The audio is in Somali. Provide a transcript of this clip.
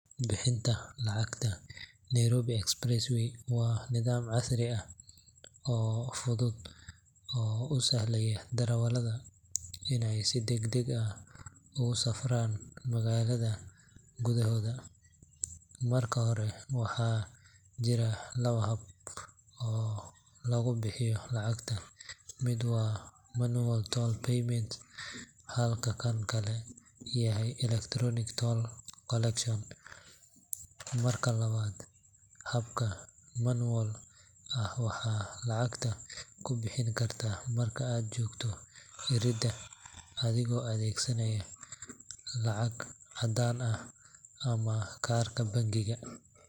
Dowladda kenya ayaa go’aansatay in lacag bixinta wadada ay noqoto mid aan lacag caddaan ah lagu adeegsan, sababtoo ah dhowr arrimood oo muhiim ah. Marka hore, isticmaalka lacagta elektaroonigga ah ayaa ka dhigaya habka lacag bixinta mid ammaan badan, taasoo yaraynaysa khatarta lagu dhaco ama la xado lacagta inta lagu guda jiro bixinta. Waxa kale oo ay dowladda rabtaa in ay dhiirrigeliso tiknoolajiyadda casriga ah ee dalka si loo horumariyo adeegyada gaadiidka iyo maamulida waddooyinka muhiimka ah. Lacag bixinta elektaroonigga ah waxay sidoo kale fududaynaysaa diiwaangelinta iyo xisaabinta dakhliga laga helo adeegga.